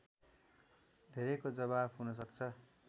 धेरैको जवाफ हुनसक्छ